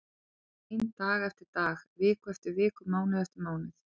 Ég hefi verið ein dag eftir dag, viku eftir viku, mánuð eftir mánuð.